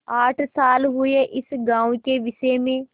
आठ साल हुए इस गॉँव के विषय में